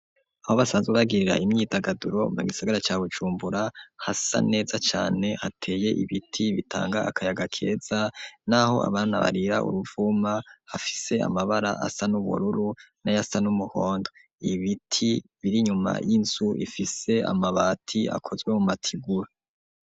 Aho basanze ubagirira imyidagaduro mu gisigara ca Bujumbura hasa neza cane hateye ibiti bitanga akayaga keza n'aho abana barira uruvuma afise amabara asa n'ubururu na yasa n'umuhondo .Ibiti biri nyuma y'inzu ifise amabati akozwe mu matigura.